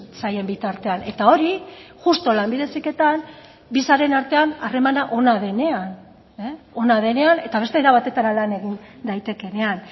zaien bitartean eta hori justu lanbide heziketan bi sareen artean harremana ona denean ona denean eta beste era batetara lan egin daitekeenean